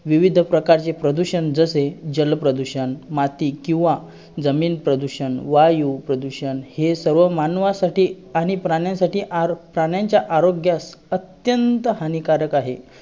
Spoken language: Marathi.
त्याचं एक गाणं सांगू शकता का तुम्ही